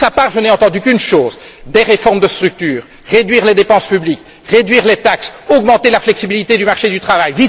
De sa part, je n'ai entendu qu'une chose des réformes de structure, réduire les dépenses publiques, réduire les taxes, augmenter la flexibilité du marché du travail.